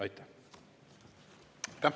Aitäh!